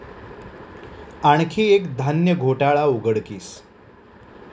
आणखी एक धान्य घोटाळा उघडकीस